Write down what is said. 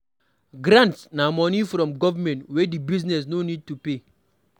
Grants na money from government wey di business no need to repay